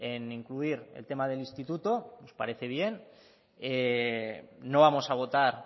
en incluir el tema del instituto nos parece bien no vamos a votar